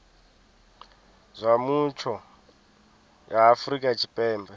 zwa mutsho ya afrika tshipembe